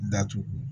Datugu